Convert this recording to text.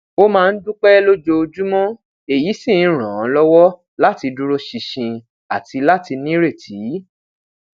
ó máa ń dúpẹ lójoojúmọ èyí sì ń ràn án lọwọ láti dúró ṣinṣin àti lati nireti